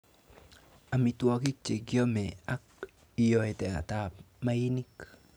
Amitwogik che kiome ak iyootet ab mainik.